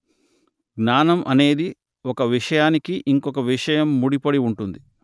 జ్ఞానం అనేది ఒక విషయానికి ఇంకొక విషయం ముడి పడి ఉంటుంది